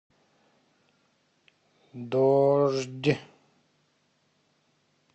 дождь